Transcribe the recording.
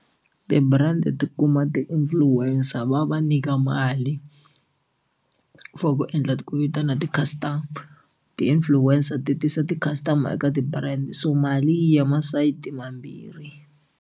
Ti-brand ti tikuma ti influencer va va nyika mali for ku endla ku vitana ti-customer ti-influencer ti tisa ti-customer eka ti-brand so mali yi ya masayiti mambirhi.